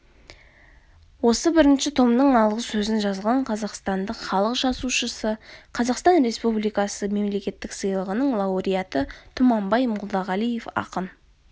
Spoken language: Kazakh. осы бірінші томның алғы сөзін жазған қазақстанның халық жазушысы қазақстан республикасы мемлекеттік сыйлығының лауреаты тұманбай молдағалиев ақын